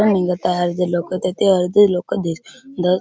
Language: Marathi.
हिंडत आहे अर्धी लोक तिथे अर्धी लोक दिस द--